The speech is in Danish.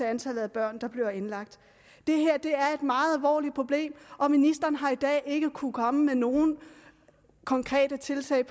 antallet af børn der bliver indlagt det her er et meget alvorligt problem og ministeren har i dag ikke kunnet komme med nogen konkrete tiltag